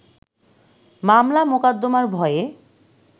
মামলা মোকাদ্দমার ভয়ে